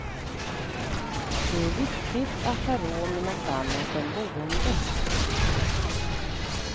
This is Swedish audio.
Det är viktigt att ha råd med något annat än boendet.